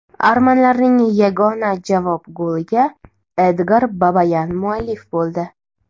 Armanlarning yagona javob goliga Edgar Babayan muallif bo‘ldi.